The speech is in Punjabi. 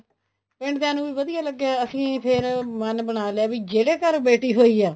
ਪਿੰਡ ਦਿਆਂ ਨੂੰ ਵਧੀਆ ਲੱਗਿਆ ਅਸੀਂ ਫ਼ੇਰ ਮਨ ਬਣਾ ਲਿਆ ਵੀ ਜਿਹੜੇ ਘਰ ਬੇਟੀ ਹੋਈ ਆ